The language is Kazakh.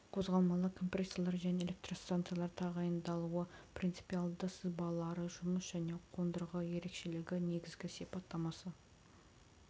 қозғалмалы компрессорлар және электростанциялар тағайындалуы принципиалды сызбалары жұмыс және қондырғы ерекшелігі негізгі сипаттамасы